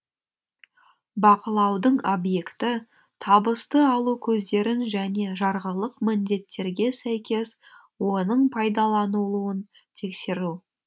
бақылаудың объекті табысты алу көздерін және жарғылық міндеттерге сәйкес оның пайдаланылуын тексеру